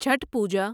Chhath Puja